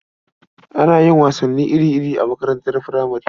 Ana yin wasanni iri-iri a makaranatar furamare.